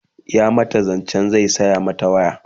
ya mata zancen zai saya mata waya